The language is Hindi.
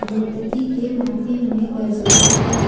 नृत्यकी के माथे में गजरा है।